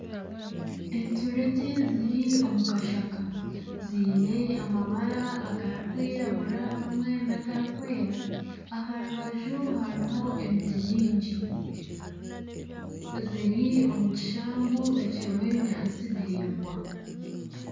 Enturegye ziri omu kashaka ziine amabara agarikwiragura hamwe n'agarikwera, aha rubaju hariho emiti mingi ziri omu kishambu ekirimu ebinyaatsi biraingwa